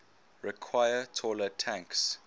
require taller tanks